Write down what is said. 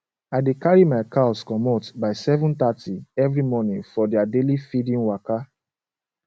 i dey carry my cows commot by 730 every morning for their daily feeding waka